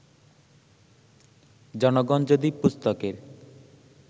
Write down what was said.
জনগণ যদি পুস্তকের